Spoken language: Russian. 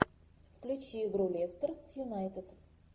включи игру лестер с юнайтед